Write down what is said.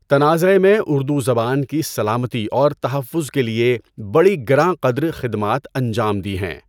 تنازعے میں اردو زبان کی سلامتی اور تحفّظ کے لیے بڑی گراں قدر خدمات انجام دی ہیں۔